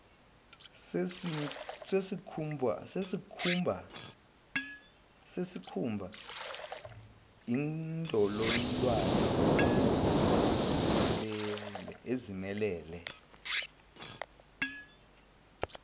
sesikhumba indololwane izimelele